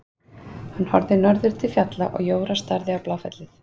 Hann horfði í norður til fjalla og Jóra starði á Bláfellið.